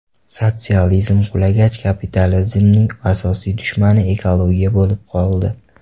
Sotsializm qulagach, kapitalizmning asosiy dushmani ekologiya bo‘lib qoldi.